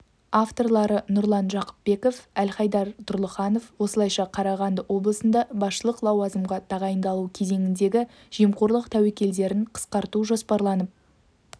авторлары нұрлан жақыпбеков әлхайдар тұрлыханов осылайша қарағанды облысында басшылық лауазымға тағайындалу кезіндегі жемқорлық тәуекелдерін қысқарту жоспарланып